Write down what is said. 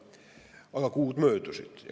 Aga kuud möödusid.